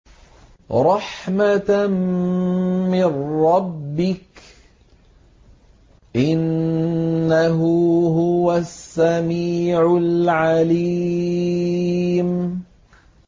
رَحْمَةً مِّن رَّبِّكَ ۚ إِنَّهُ هُوَ السَّمِيعُ الْعَلِيمُ